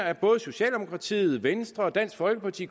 at både socialdemokratiet venstre dansk folkeparti